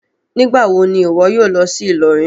Nigbawo ni iwọ yoo lọ si Ilorin?